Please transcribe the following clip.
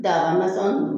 Daga nasugu nunnu